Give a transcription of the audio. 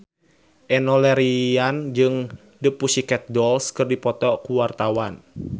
Enno Lerian jeung The Pussycat Dolls keur dipoto ku wartawan